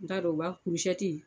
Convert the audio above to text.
N t'a dɔn u b'a kurusɛti.